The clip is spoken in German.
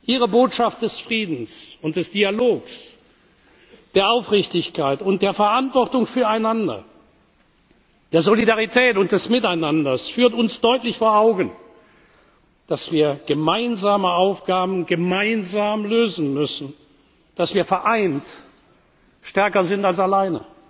Ihre Botschaften des Friedens und des Dialogs, der Aufrichtigkeit und der Verantwortung füreinander, der Solidarität und des Miteinanders führen uns deutlich vor Augen, dass wir gemeinsame Aufgaben gemeinsam lösen müssen, dass wir vereint stärker sind als